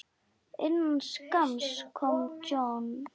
Innan skamms kom John.